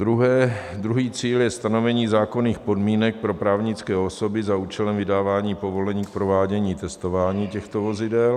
Druhý cíl je stanovení zákonných podmínek pro právnické osoby za účelem vydávání povolení k provádění testování těchto vozidel.